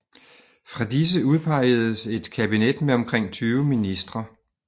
Fra disse udpeges et kabinet med omkring 20 ministre